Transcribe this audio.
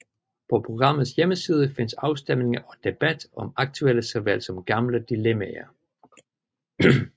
På programmets hjemmeside findes afstemninger og debat om aktuelle såvel som gamle dilemmaer